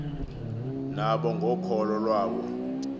nabo ngokholo iwabo